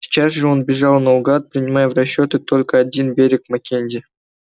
сейчас же он бежал наугад принимая в расчёт только один берег маккензи